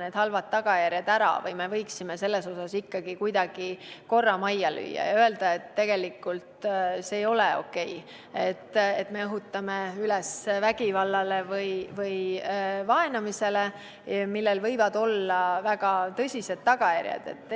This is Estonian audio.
need halvad tagajärjed ära ootama või võiksime selles osas ikka kuidagi korra majja lüüa ja öelda, et tegelikult see ei ole okei, et me õhutame vägivalda või vaenamist, millel võivad olla väga tõsised tagajärjed?